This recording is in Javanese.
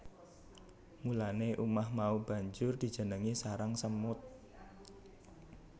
Mulane umah mau banjur dijenengi sarang semut